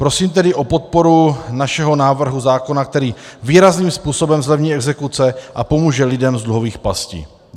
Prosím tedy o podporu našeho návrhu zákona, který výrazným způsobem zlevní exekuce a pomůže lidem z dluhových pastí.